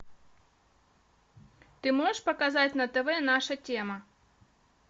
ты можешь показать на тв наша тема